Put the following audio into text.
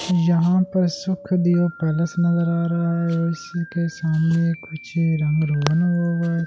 यहां पर सुक्‍ख दियो पैलेस नजर आ रहा है और इसी के सामने कुछ